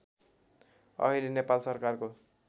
अहिले नेपाल सरकारको